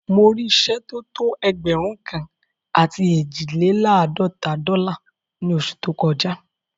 Mo rí ìṣẹ́ tó tó ẹgbẹ̀rún kan àti eejilelaadọta dọ́là ní ọ̀ṣẹ̀ tó kọ já